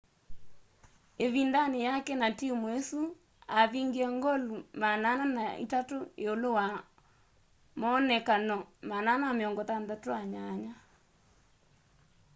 ĩvindanĩ yake na timũ ĩsu avingie ngoli 403 iulu wa moonekano 468